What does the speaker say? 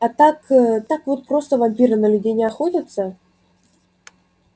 а так так вот просто вампиры на людей не охотятся